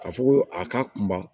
Ka fɔ ko a ka kunba